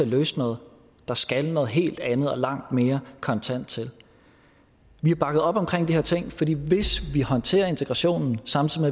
løse noget der skal noget helt andet og langt mere kontant til vi har bakket op omkring de her ting fordi hvis vi håndterer integrationen samtidig